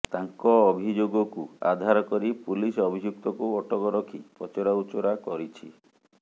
ତାଙ୍କ ଅଭିଯୋଗକୁ ଆଧାର କରି ପୁଲିସ ଅଭିଯୁକ୍ତକୁ ଅଟକ ରଖି ପଚରାଉଚରା କରିଛି